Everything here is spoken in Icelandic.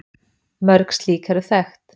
Mörg slík eru þekkt.